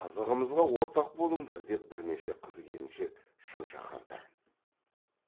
қызығымызға ортақ болыңдар деп бірнеше қыз келіншек шын шақырды